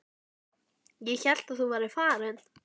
Ég hélt að þú værir farin.